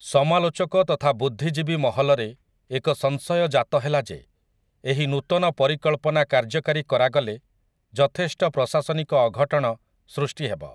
ସମାଲୋଚକ ତଥା ବୁଦ୍ଧିଜୀବି ମହଲରେ ଏକ ସଂଶୟ ଜାତ ହେଲା ଯେ ଏହି ନୂତନ ପରିକଳ୍ପନା କାର୍ଯ୍ୟକାରୀ କରାଗଲେ ଯଥେଷ୍ଟ ପ୍ରଶାସନିକ ଅଘଟଣ ସୃଷ୍ଟି ହେବ ।